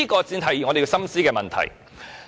這才是我們要深思的問題。